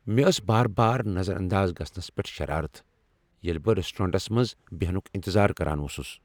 مےٚ ٲس بار بار نظر انداز گژھنس پیٹھ شرارت، ییٚلہ بہٕ ریسٹورینٹس منز بیہنک انتظار کران اوسُس۔